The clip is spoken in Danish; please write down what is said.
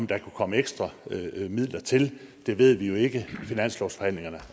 der kunne komme ekstra midler til det ved vi jo ikke for finanslovsforhandlingerne